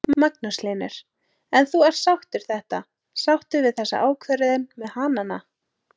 Magnús Hlynur: En þú ert sáttur þetta, sáttur við þessa ákvörðun með hanana?